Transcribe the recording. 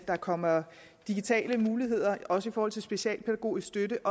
der kommer digitale muligheder også i forhold til specialpædagogisk støtte